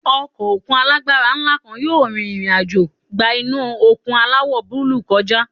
Ọkọ̀ òkun alágbára ńlá kan yóò rìnrìn àjò gba inú òkun aláwọ̀ búlúù kọjá.